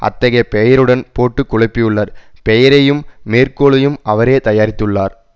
அத்தகைய பெயருடன் போட்டு குழப்பியுள்ளார் பெயரையும் மேற்கோளையும் அவரே தயாரித்துள்ளார்